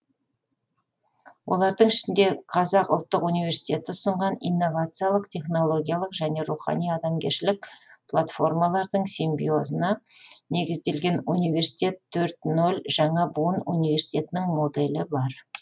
олардың ішінде қазақ ұлттық университеті ұсынған инновациялық технологиялық және рухани адамгершілік платформалардың симбиозына негізделген университет төрт нөл жаңа буын университетінің моделі бар